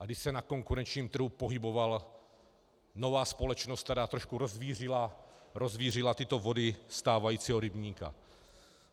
A kdy se na konkurenčním trhu pohybovala nová společnost, která trošku rozvířila tyto vody stávajícího rybníka.